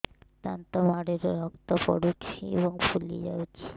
ଦାନ୍ତ ମାଢ଼ିରୁ ରକ୍ତ ପଡୁଛୁ ଏବଂ ଫୁଲି ଯାଇଛି